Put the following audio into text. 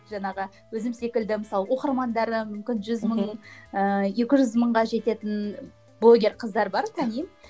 жаңағы өзім секілді мысалы оқырмандары мүмкін жүз мың ыыы екі жүз мыңға жететін блогер қыздар бар танимын